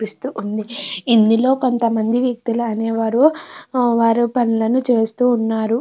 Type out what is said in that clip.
పిస్తు వుంది. ఇందులో కొంత మంది వ్యక్తులు అనేవరూ వారు పనులను చేస్తూ ఉన్నారు.